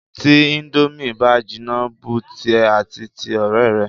Tí íńdómì bá jinná bu tìẹ àti ti ọ̀rẹ́ rẹ.